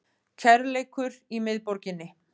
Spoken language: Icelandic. Kærleikur í miðborginni